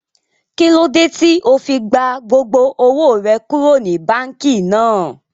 Kílódé tí ó fi gba gbogbo owó rẹ kúrò ní báànkì náà?